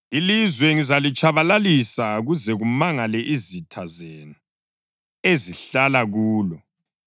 Ilizwe ngizalitshabalalisa kuze kumangale izitha zenu ezihlala kulo.